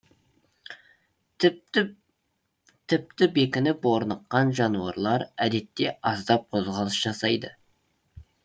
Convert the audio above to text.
тіпті тіпті бекініп орныққан жануарлар әдетте аздап қозғалыс жасайды